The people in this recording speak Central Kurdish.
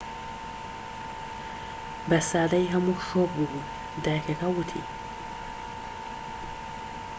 بە سادەیی هەموو شۆك بوو بووین دایکەکە ووتی